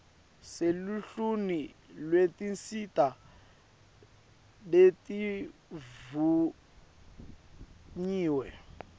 seluhlwini lwetinsita letivunyiwe